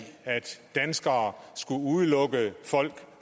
at danskere skulle udelukke folk